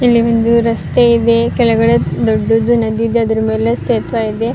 ಇಲ್ಲಿ ಒಂದು ರಸ್ತೆ ಇದೆ ಕೆಳಗಡೆ ದೊಡ್ದದು ನದಿ ಇದೆ ಅದ್ರ ಮೇಲೆ ಸೇತುವೆ ಇದೆ.